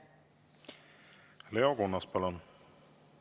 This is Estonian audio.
Leo Kunnas, palun!